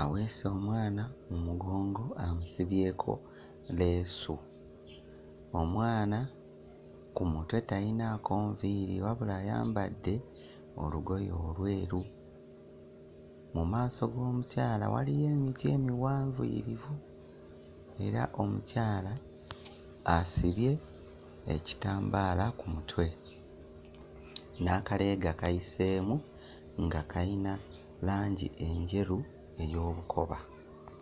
aweese omwana mu mugongo amusibyeko leesu. Omwana ku mutwe talinaako nviiri wabula ayambadde olugoye olweru. Mu maaso g'omukyala waliyo emiti emiwanvuyirivu era omukyala asibye ekitambaala ku mutwe, n'akaleega kayiseemu nga kayina langi enjeru ey'olukoba.